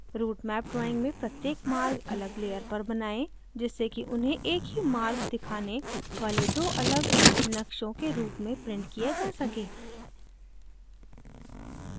routemap drawing में प्रत्येक मार्ग अलग layer पर बनाएं जिससे कि उन्हें एक ही मार्ग दिखाने वाले दो अलग नक्शों के route में printed किया जा सके